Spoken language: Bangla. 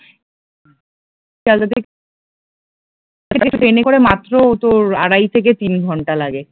ট্রেনে করে মাত্র তোর আড়াই থেকে তিন ঘন্টা লাগে